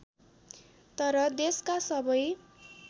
तर देशका सबै